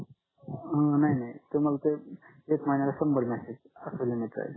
नाही नाही तुम्हाला ते एक महिन्याला शंभर मेसेज आस लिहून येतंय